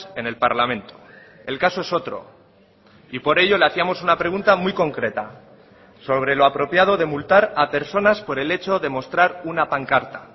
en el parlamento el caso es otro y por ello le hacíamos una pregunta muy concreta sobre lo apropiado de multar a personas por el hecho de mostrar una pancarta